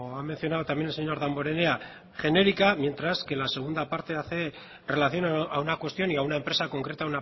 ha mencionado también el señor damborenea genérica mientras que la segunda parte hace relación a una cuestión y a una empresa concreta a